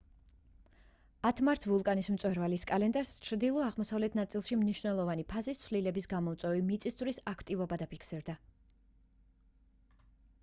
10 მარტს ვულკანის მწვერვალის კალდერას ჩრდილო-აღმოსავლეთ ნაწილში მნიშვნელოვანი ფაზის ცვლილების გამომწვევი მიწისძვრის აქტივობა დაფიქსირდა